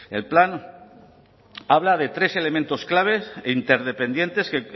el plan habla de tres elementos clave e interdependientes que